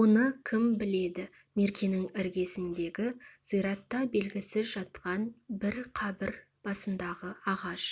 оны кім біледі меркенің іргесіндегі зиратта белгісіз жатқан бір қабір басындағы ағаш